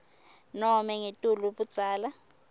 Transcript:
nobe ngetulu budzala